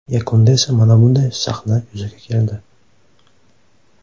Yakunda esa mana shunday sahna yuzaga keldi.